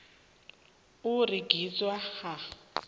u rengiswa ha